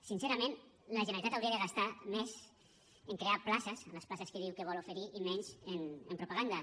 sincerament la generalitat hauria de gastar més en crear places les places que diu que vol oferir i menys en propaganda